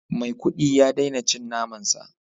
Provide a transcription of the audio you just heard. Maikudi ya daina cin naman sa